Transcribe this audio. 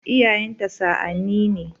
Iyayenta sa'anni ne.